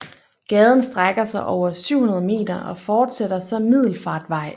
Gaden strækker sig over 700 m og fortsætter som Middelfartvej